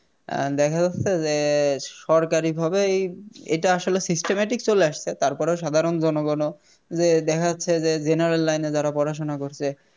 অ্যাঁ দেখা যাচ্ছে যে সরকারি ভাবেই এটা আসলে Systemic চলে আসছে তারপরও সাধারণ জনগণও যে দেখা যাচ্ছে যে General line এ যারা পড়াশুনা করছে